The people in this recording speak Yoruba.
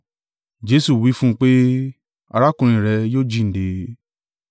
Jesu wí fún un pé, “Arákùnrin rẹ yóò jíǹde.”